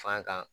Fan kan